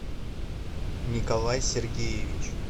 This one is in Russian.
николай сергеевич